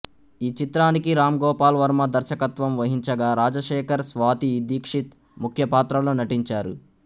ఈ చిత్రానికి రాంగోపాల్ వర్మ దర్శకత్వం వహించగా రాజశేఖర్ స్వాతి దీక్షిత్ ముఖ్యపాత్రల్లో నటించారు